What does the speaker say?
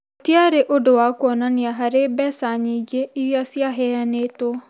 gũtiarĩ ũndũ wa kuonania harĩ mbeca nyingĩ iria ciaheanĩtwo.